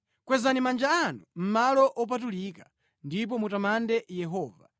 Kwezani manja anu mʼmalo opatulika ndipo mutamande Yehova.